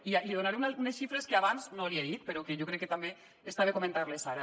i li donaré unes xifres que abans no li he dit però que jo crec que també està bé comentar les ara